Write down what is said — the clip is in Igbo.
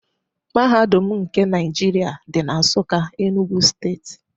Mahadum nke Naijiria dị na Nsụka, Enugwu steeti.